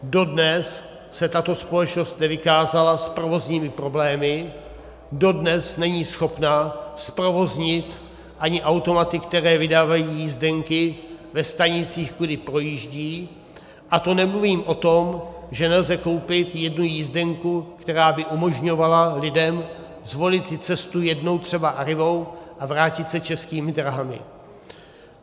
Dodnes se tato společnost nevykázala s provozními problémy, dodnes není schopna zprovoznit ani automaty, které vydávají jízdenky ve stanicích, kudy projíždí, a to nemluvím o tom, že nelze koupit jednu jízdenku, která by umožňovala lidem zvolit si cestu jednou třeba Arrivou a vrátit se Českými dráhami.